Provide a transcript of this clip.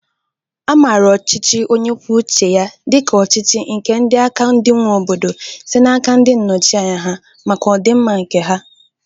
A mara ọchịchị onyekwucheya dịka ọchịchị nke aka ndị nwe obodo, site n'aka ndị nnọchianya ha, maka ọdịmma nke ha